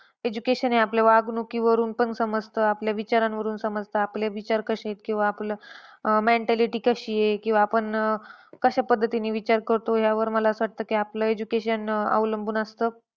Education हे आपल्या वागणुकीवरून पण समजतं. आपल्या विचारावरून समजतं. आपले विचार कशे आहेत. किंवा आपलं अह mentality कशी आहे. किंवा आपण अं कश्या पद्धतीने विचार करतो, यावर मला असं वाटतं आपले education अवलंबून असतं.